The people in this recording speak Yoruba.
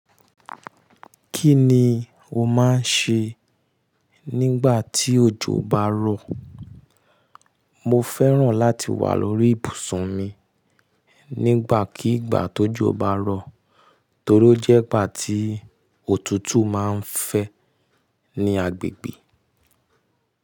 Kí ni o máa ń ṣe nígbà tí òjò bá rọ̀? Mo fẹ́ràn láti wà lórí ibùsùn mi nígbàkígbà tójo bá rọ̀ torí ó jẹ́ ìgbà tí òtútù máa ń fẹ́ ní agbègbè.